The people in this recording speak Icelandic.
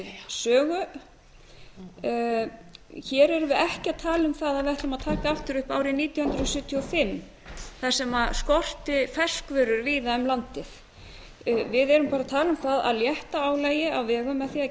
sögu hér erum við ekki að tala um það að við ætlum að taka aftur upp árið nítján hundruð sjötíu og fimm þar sem skorti ferskvörur víða um landið við erum bara að tala um það að létta álagi á vegum með því að